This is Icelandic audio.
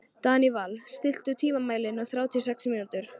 Daníval, stilltu tímamælinn á þrjátíu og sex mínútur.